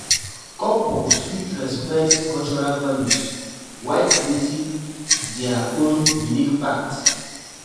Couples fit respect cultural values while creating dia own unique path.